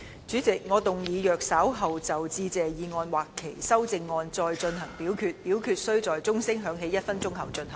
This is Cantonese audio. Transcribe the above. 主席，我動議若稍後就"致謝議案"所提出的議案或修正案再進行點名表決，表決須在鐘聲響起1分鐘後進行。